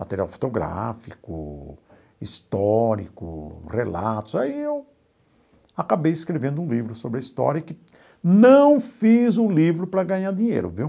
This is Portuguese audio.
Material fotográfico, histórico, relatos... Aí eu acabei escrevendo um livro sobre a história e que não fiz o livro para ganhar dinheiro, viu?